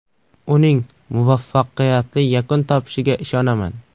Uning muvaffaqiyatli yakun topishiga ishonaman”.